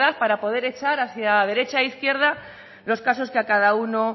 para poder echar hacia derecha e izquierda los casos que a cada uno